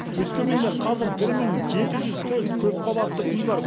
өскеменде қазір бір мың жеті жүз төрт көпқабатты үй бар